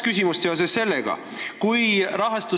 Mul on seoses sellega kaks küsimust.